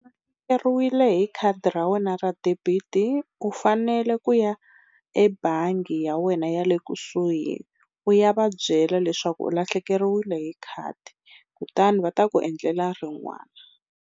U lahlekeriwile hi khadi ra wena ra debit u fanele ku ya ebangi ya wena ya le kusuhi u ya va byela leswaku u lahlekeriwile hi khadi kutani va ta ku endlela rin'wana.